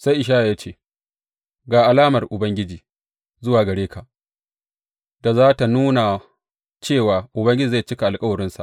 Sai Ishaya ya ce, Ga alamar Ubangiji zuwa gare ka da za tă nuna cewa Ubangiji zai cika alkawarinsa.